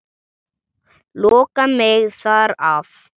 Loka mig þar af.